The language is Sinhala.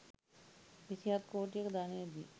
විසිහත් කෝටියක ධනයදී